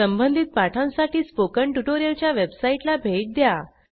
संबंधित पाठांसाठी स्पोकन ट्युटोरियलच्या वेबसाईटला भेट द्या